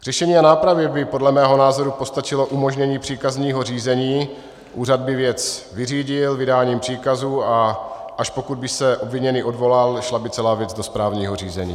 K řešení a nápravě by podle mého názoru postačilo umožnění příkazního řízení, úřad by věc vyřídil vydáním příkazu, a až pokud by se obviněný odvolal, šla by celá věc do správního řízení.